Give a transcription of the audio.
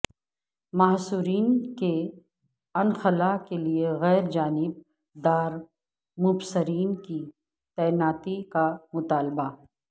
محصورین کے انخلاء کے لیے غیر جانب دارمبصرین کی تعیناتی کا مطالبہ